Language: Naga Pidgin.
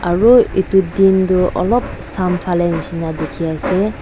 aru etu din toh olop sam phane nishe na dikhi ase.